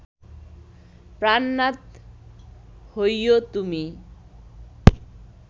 প্রাণনাথ হৈও তুমি